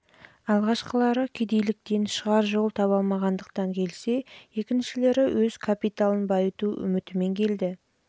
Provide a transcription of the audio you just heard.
алғашқылары кедейліктен шығар жол таба алмағандықтан келсе екіншілері өз капиталын байыту үмітімен келді